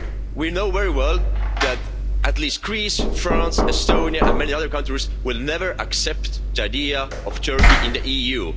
We know very well that at least Greece, France, Estonia and many other countries will never accept the idea of Turkey in the EU.